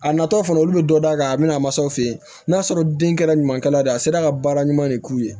A natɔ fana olu bɛ dɔ d'a kan a bɛna a mansaw fɛ yen n'a sɔrɔ den kɛra ɲuman kɛra de a sera ka baara ɲuman de k'u ye